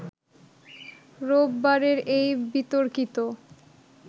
রোববারের এই বিতর্কিত